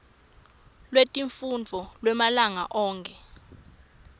lwetifundvo lwemalanga onkhe